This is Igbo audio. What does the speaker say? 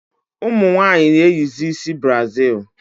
Ụmụnwanyi na-eyizi ịsị brazil